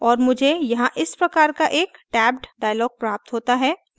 और मुझे यहाँ इस प्रकार एक tabbed dialog प्राप्त होता है